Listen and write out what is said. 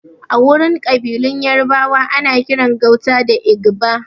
Agurin ƙabilun yarabawa ana kiran gauta da Igba